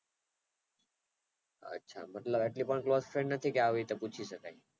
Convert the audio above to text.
અચ્છા તો એટલી પણ best friend નથી કે આવી રીતે પૂછી શકાય.